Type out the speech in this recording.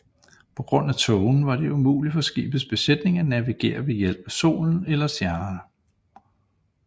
På grund af tågen var det umulig for skibets besætning at navigere ved hjælp af solen eller stjernerne